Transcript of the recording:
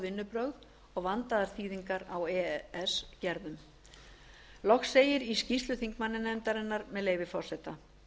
vinnubrögð og vandaðar þýðingar á e e s gerðum nefndin leggur sérstaka áherslu á það loks segir í skýrslu þingmannanefndarinnar með leyfi forseta